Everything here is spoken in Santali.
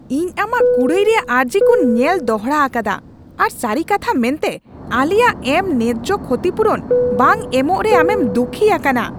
ᱤᱧ ᱟᱢᱟᱜ ᱠᱩᱲᱟᱹᱭ ᱨᱮᱭᱟᱜ ᱟᱹᱨᱡᱤ ᱠᱚᱧ ᱧᱮᱞ ᱫᱚᱦᱲᱟ ᱟᱠᱟᱫᱟ, ᱟᱨ ᱥᱟᱹᱨᱤ ᱠᱟᱛᱷᱟ ᱢᱮᱱᱛᱮ, ᱟᱞᱮᱭᱟᱜ ᱮᱢ ᱱᱮᱡᱽᱡᱚ ᱠᱷᱩᱛᱤᱯᱩᱨᱩᱱ ᱵᱟᱝ ᱮᱢᱚᱜ ᱨᱮ ᱟᱢᱮᱢ ᱫᱩᱠᱷᱤ ᱟᱠᱟᱱᱟ ᱾